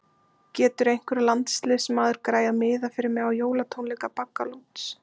Getur einhver landsliðsmaður græjað miða fyrir mig á jólatónleika Baggalúts?